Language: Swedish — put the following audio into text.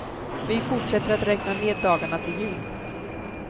Vi fortsätter att räkna ned dagarna till jul.